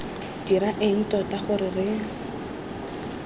dira eng tota gore re